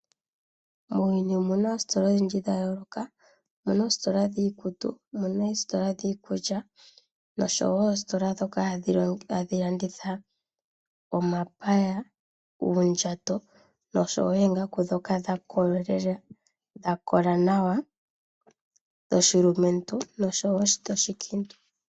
Muuyuni omuna oostola odhindji dhayooloka. Omuna oostola dhiikutu, dhiikulya noshowo oostola ndhoka hadhi landitha omapaya, uundjato noshowo oongaku ndhoka dha kola nawa dhoshilumentu noshowo dhoshikiintu.